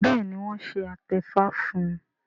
béèni wón ṣe atefa fún